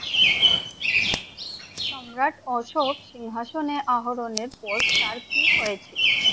সম্রাট অশোক সিংহাসনে আহরণের পর তার কি হয়েছিল?